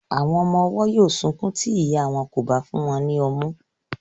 Àwọn ọmọ ọwọ́ yóó sunkún tí ìya wọn ò bá fún wọn ní ọmú.